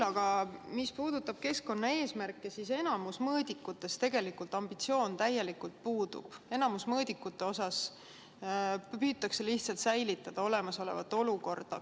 Aga mis puudutab keskkonnaeesmärke, siis enamiku mõõdikute puhul ambitsioon täielikult puudub, enamiku mõõdikute puhul püütakse lihtsalt säilitada olemasolevat olukorda.